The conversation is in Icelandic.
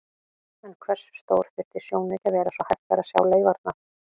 En hversu stór þyrfti sjónauki að vera svo hægt væri að sjá leifarnar?